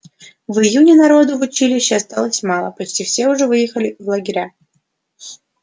в июне народу в училище осталось мало почти все уже выехали в лагеря